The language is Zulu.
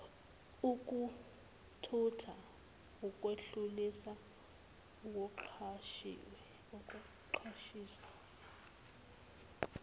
ukuthutha ukwedlulisa ukucashisa